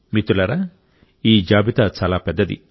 మిత్రులారా ఈ జాబితా చాలా పెద్దది